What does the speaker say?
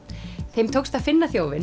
þeim tókst að finna þjófinn